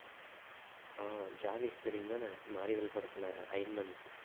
ஆஹ் ஜாவிஸ் தெரியும்தானே மார்வெல் படத்துல iron man